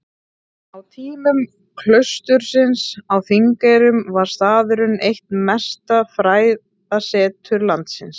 Á tímum klaustursins á Þingeyrum var staðurinn eitt mesta fræðasetur landsins.